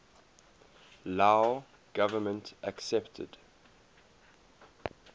lao government accepted